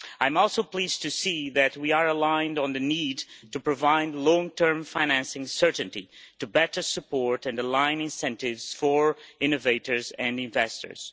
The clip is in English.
I am also pleased to see that we are aligned on the need to provide long-term financing certainty to better support and align incentives for innovators and investors.